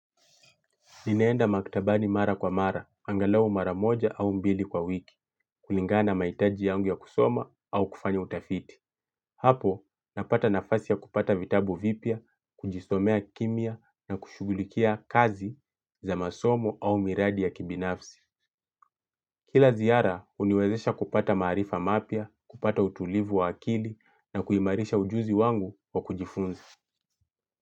Ninaenda maktabani mara kwa mara, angalau mara moja au mbili kwa wiki, kulingana na mahitaji yangu ya kusoma au kufanya utafiti. Hapo, napata nafasi ya kupata vitabu vipya, kujisomea kimya na kushughulikia kazi za masomo au miradi ya kibinafsi. Kila ziara, huniwezesha kupata maarifa mapya, kupata utulivu wa akili na kuimarisha ujuzi wangu wa kujifunza.